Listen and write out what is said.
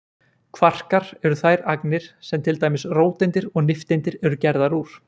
kvarkar eru þær agnir sem til dæmis róteindir og nifteindir eru gerðar úr